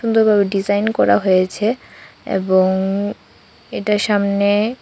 সুন্দরবাবে design করা হয়েছে এবং এটা সামনে--